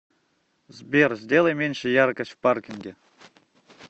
сбер сделай меньше яркость в паркинге